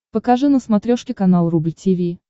покажи на смотрешке канал рубль ти ви